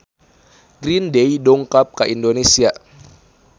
Green Day dongkap ka Indonesia